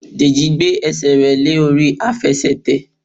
Deji gbé ẹsẹ̀ rẹ̀ lé orí Àfẹsẹ̀tẹ̀.